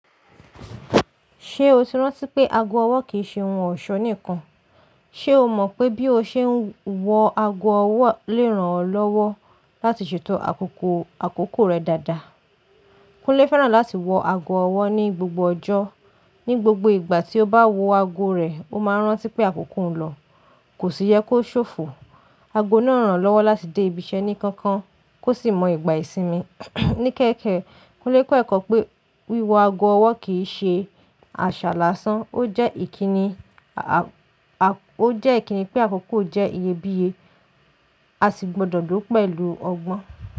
Ṣé o ti rántí pé ago ọwọ́ kì í ṣe ohun ọ̀ṣọ́ nìkan? Ṣe o mọ̀ pé bí o ṣe ń wọ ago ọwọ́ le ran ọ́ lọ́wọ́ láti ṣètò àkókò akoko rẹ dáadáa? Kunle fẹ́ràn láti wọ ago ọwọ́ ní gbogbo ọjọ́. Ní gbogbo ìgbà tí ó bá wọ ago rẹ̀, ó máa rántí pé àkókò ń lọ, kò sì yẹ kó ṣòfò. Ago náà ń ràn án lọ́wọ́ láti dé ibiṣẹ́ ní kankan, kó sì mọ ìgbà ìsinmi. Ní kẹ́kẹ̀ẹ́, Kunle kó ẹ̀kọ́ pé wípe wiwo ago ọwọ́ kì í ṣe àṣà lásán, ó jẹ́ ìkíni, a, a, ó jẹ́ ìkíni pé àkókò jẹ́ iyebíye, a sì gbọdọ̀ dúró pẹ̀lú ọgbọ́n.